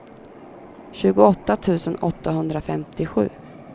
tjugoåtta tusen åttahundrafemtiosju